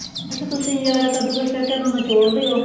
ਅੱਛਾ ਤੁਸੀਂ ਜਿਹੜਾ ਕੱਦੂ ਕਸ ਕਰਕੇ ਉਹਨੂੰ ਨਿਚੋੜੇਦੇ ਓ